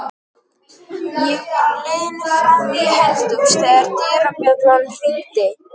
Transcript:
Ég var á leiðinni fram í eldhús þegar dyrabjallan hringdi.